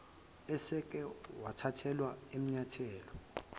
eseke wathathelwa amanyathelo